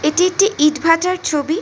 এইটি একটি ইট ভাটার ছবি।